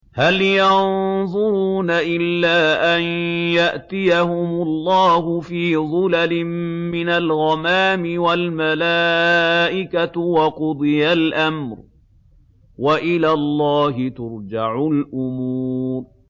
هَلْ يَنظُرُونَ إِلَّا أَن يَأْتِيَهُمُ اللَّهُ فِي ظُلَلٍ مِّنَ الْغَمَامِ وَالْمَلَائِكَةُ وَقُضِيَ الْأَمْرُ ۚ وَإِلَى اللَّهِ تُرْجَعُ الْأُمُورُ